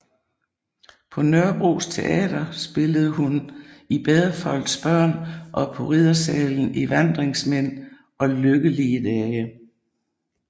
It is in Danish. På Nørrebros Teater spillede hun i Bedre folks børn og på Riddersalen i Vandringsmænd og Lykkelige dage